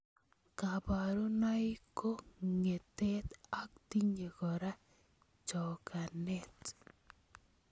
Kaburunoi ko ng'etet ak tinye kora chokanet.